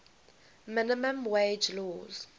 minimum wage laws